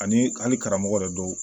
Ani hali karamɔgɔ yɛrɛ dɔw